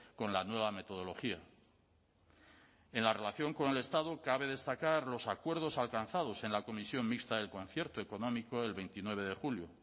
con la nueva metodología en la relación con el estado cabe destacar los acuerdos alcanzados en la comisión mixta del concierto económico el veintinueve de julio